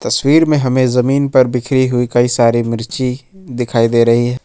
तस्वीर पर हमें जमीन पर बिखरी हुई कई सारी मिर्ची दिखाई दे रही है।